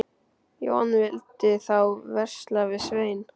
Jón vildi þá versla við Svein.